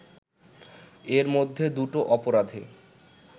এর মধ্যে দুটো অপরাধে